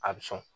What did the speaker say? A bɛ sɔn